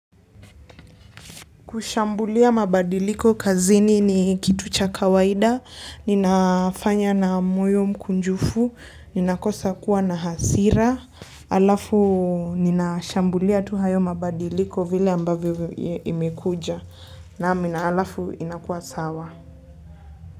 Kushambulia mabadiliko kazini ni kitu cha kawaida, ninafanya na moyo mkunjufu, ninakosa kuwa na hasira, alafu nina shambulia tu hayo mabadiliko vile ambavyo imekuja, naam na halafu inakuwa sawa.